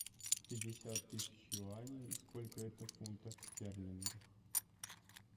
пятьдесят тысяч юаней сколько это в фунтах стерлингах